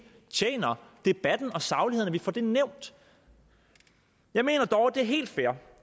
tjener debatten og sagligheden at vi får det nævnt jeg mener dog at det er helt fair